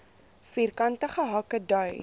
vierkantige hake dui